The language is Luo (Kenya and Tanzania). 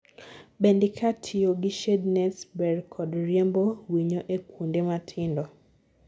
bende ka tiyogi shade nets ber kod riembo winyo e kuonde matindo